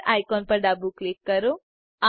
sphere icon પર ડાબું click કરો